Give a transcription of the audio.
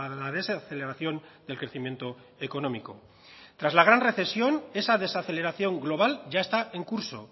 la desaceleración del crecimiento económico tras la gran recesión esa desaceleración global ya está en curso